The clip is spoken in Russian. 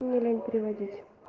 мне лень переводить